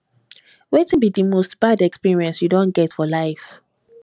wetin be di most bad experience you don get for life